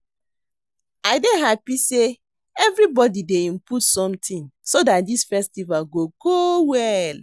I dey happy say everybody dey input something so dat dis festival go go well